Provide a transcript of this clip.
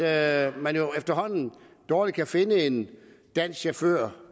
at man efterhånden dårlig kan finde en dansk chauffør